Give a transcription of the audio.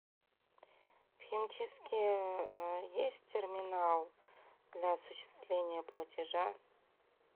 в химчистке есть терминал для осуществления платежа